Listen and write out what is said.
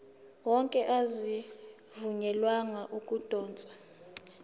wonke azivunyelwanga ukudotshwa